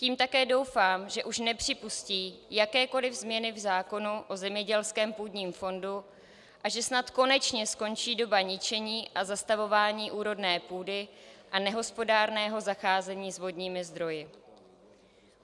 Tím také doufám, že už nepřipustí jakékoliv změny v zákonu o zemědělském půdním fondu a že snad konečně skončí doba ničení a zastavování úrodné půdy a nehospodárného zacházení s vodními zdroji.